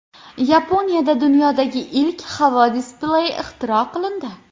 Yaponiyada dunyodagi ilk havo displeyi ixtiro qilindi.